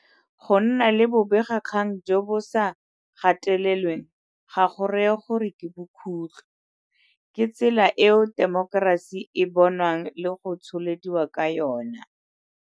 Go nna le bobegakgang jo bo sa gatelelweng ga go raye gore ke bokhutlho. Ke tsela eo temokerasi e bonwang le go tsholediwa ka yona.